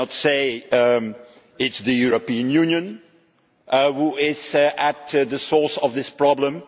we cannot say it is the European Union which is at the source of this problem.